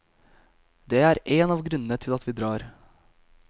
Dét er en av grunnene til at vi drar.